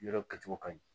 Yɔrɔ kɛcogo ka ɲi